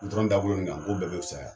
Gutɔrɔn dagolo nin kan, n k'o bɛɛ be wusaya